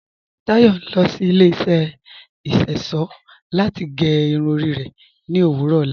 Táyọ̀ ń lọ sí ilẹ̀ iṣọ́ṣọ̀ láti gẹ́ irun rẹ̀ ní òwurọ̀ ọlá.